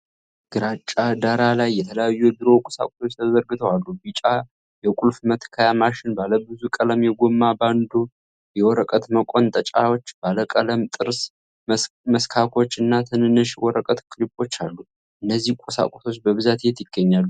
ግራጫ ዳራ ላይ የተለያዩ የቢሮ ቁሳቁሶች ተዘርግተው አሉ። ቢጫ የቁልፍ መትከያ ማሽን፣ ባለብዙ ቀለም የጎማ ባንዶች፣ የወረቀት መቆንጠጫዎች፣ ባለቀለም ጥርስ መስካኮች እና ትንንሽ የወረቀት ክሊፖች አሉ። እነዚህ ቁሳቁሶች በብዛት የት ይገኛሉ?